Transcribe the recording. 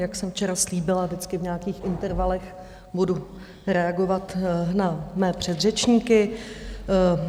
Jak jsem včera slíbila, vždycky v nějakých intervalech budu reagovat na své předřečníky.